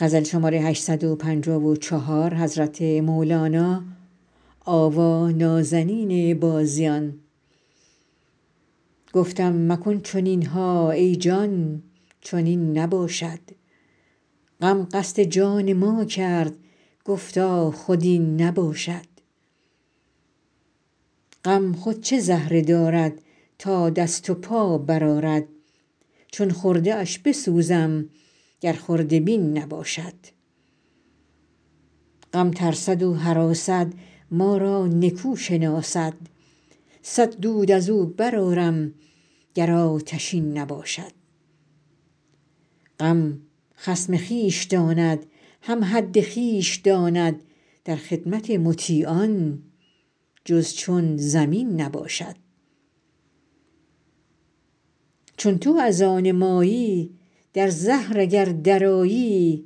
گفتم مکن چنین ها ای جان چنین نباشد غم قصد جان ما کرد گفتا خود این نباشد غم خود چه زهره دارد تا دست و پا برآرد چون خرده اش بسوزم گر خرده بین نباشد غم ترسد و هراسد ما را نکو شناسد صد دود از او برآرم گر آتشین نباشد غم خصم خویش داند هم حد خویش داند در خدمت مطیعان جز چون زمین نباشد چون تو از آن مایی در زهر اگر درآیی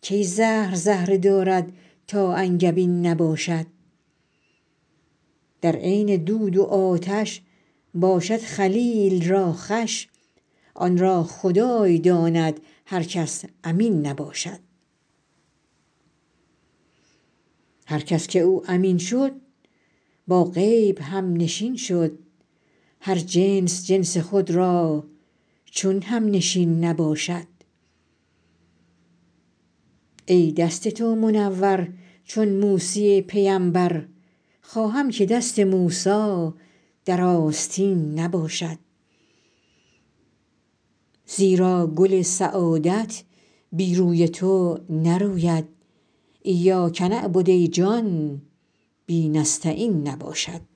کی زهر زهره دارد تا انگبین نباشد در عین دود و آتش باشد خلیل را خوش آن را خدای داند هر کس امین نباشد هر کس که او امین شد با غیب همنشین شد هر جنس جنس خود را چون همنشین نباشد ای دست تو منور چون موسی پیمبر خواهم که دست موسی در آستین نباشد زیرا گل سعادت بی روی تو نروید ایاک نعبد ای جان بی نستعین نباشد